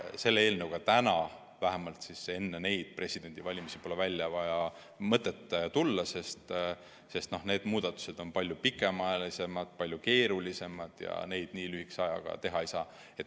Sellise eelnõuga praegu, vähemalt enne neid presidendivalimisi pole mõtet välja tulla, sest need muudatused on palju pikaajalisemad, palju keerulisemad ja neid nii lühikese ajaga teha ei saa.